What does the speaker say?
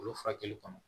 Olu furakɛli kɔnɔ